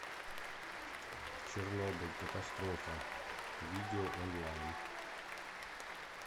чернобыль катастрофа видео онлайн